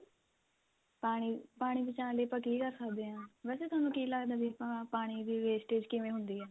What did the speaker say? ਪਾਣੀ ਪਾਣੀ ਬਚਾਣ ਲਈ ਆਪਾਂ ਕੀ ਕਰ ਸਕਦੇ ਆਂ ਵੈਸੇ ਥੋਨੂੰ ਕੀ ਲੱਗਦਾ ਹੈ ਕਿ ਆਪਾਂ ਪਾਣੀ ਦੀ wastage ਕਿਵੇਂ ਹੁੰਦੀ ਏ